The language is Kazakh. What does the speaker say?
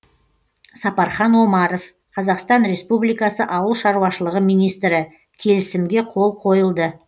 сапархан омаров қазақстан республикасы ауыл шаруашылығы министрі келісімге қол қойылды